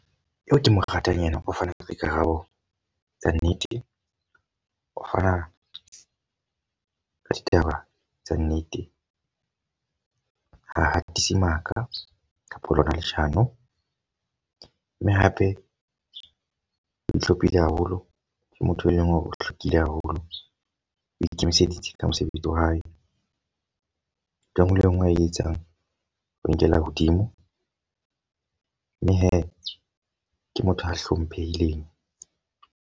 Eo ke mo ratang ena, o fana ka dikarabo tsa nnete. O fana ka ditaba tsa nnete. Ha hatise maka kapa lona leshano. Mme hape o ihlomphile haholo ke motho e leng o hlwekile haholo. O ikemiseditse ka mosebetsi wa hae. Ntho e nngwe le e nngwe a e etsang, o nkela hodimo. Mme he ke motho a hlomphehileng.